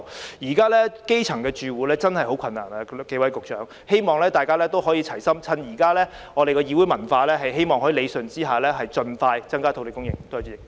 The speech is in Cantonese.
各位局長，現在基層住戶真的十分困難，故我希望大家可以齊心，藉着現在可以理順意見的議會文化，盡快增加土地供應。